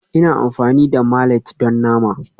Ina amfani da mallet don nama